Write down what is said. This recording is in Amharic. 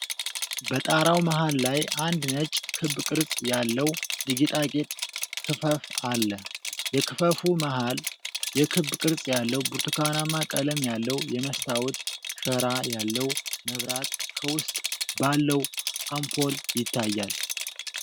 በጣራው መሃል ላይ አንድ ነጭ ክብ ቅርጽ ያለው የጌጣጌጥ ክፈፍ አለ። በክፈፉ መሃል፣ የክብ ቅርጽ ያለው ብርቱካናማ ቀለም ያለው የመስታወት ሸራ ያለው መብራት ከውስጥ ባለው አምፖል ይታያል።